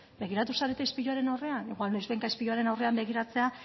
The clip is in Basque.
begiratu zarete ispiluaren aurrean igual noizbehinka ispiluaren aurrean begiratzea